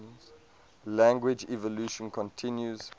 language evolution continues